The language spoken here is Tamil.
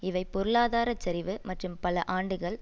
இவை பொருளாதாரச்சரிவு மற்றும் பல ஆண்டுகள்